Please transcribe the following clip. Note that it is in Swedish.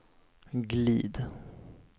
glid